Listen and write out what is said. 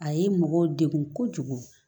A ye mɔgɔ degun kojugu